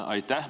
Aitäh!